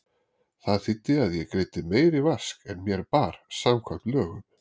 Það þýddi að ég greiddi meiri vask en mér bar samkvæmt lögum.